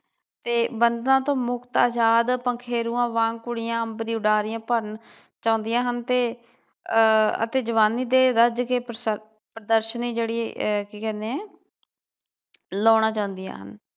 ਤੇ ਬੰਧਨਾਂ ਤੋਂ ਮੁਕਤ ਆਜ਼ਾਦ ਪੰਖੇਰੂਆਂ ਵਾਂਗ ਕੁੜੀਆਂ ਅੰਬਰੀ ਉਡਾਰੀਆਂ ਭਰਨ ਚਾਹੁੰਦੀਆਂ ਹਨ ਤੇ ਆਹ ਅਤੇ ਜਵਾਨੀ ਦੇ ਰੱਜ ਕੇ ਪ੍ਰਦਰਸ਼ਨੀ ਜਿਹੜੀ ਆ ਕੀ ਕਹਿੰਦੇ ਏ ਲਾਉਣਾ ਚਾਹੁੰਦੀਆਂ ਹਨ।